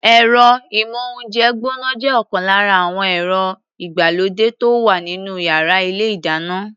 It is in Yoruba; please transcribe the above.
Ẹ̀rọ-ìmóhúnjẹ gbọ́ná jẹ́ ọ̀kan lára àwọn ẹ̀rọ ìgbàlódé tó wà nínú yàrá ilé-ìdáná.